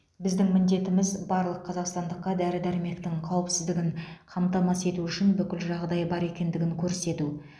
біздің міндетіміз барлық қазақстандыққа дәрі дәрмектің қауіпсіздігін қамтамасыз ету үшін бүкіл жағдай бар екендігін көрсету